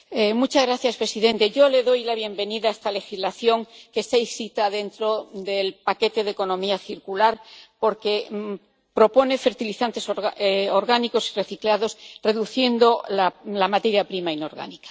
Señor presidente, yo le doy la bienvenida a esta legislación, que está inscrita dentro del paquete de economía circular, porque propone fertilizantes orgánicos y reciclados reduciendo así la materia prima inorgánica.